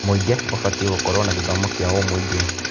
Mũingĩ ũbatiĩ gũkorwo na gĩthomo kĩaũmũingĩ.